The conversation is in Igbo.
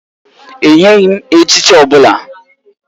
E nyeghị m echichi ọ bụla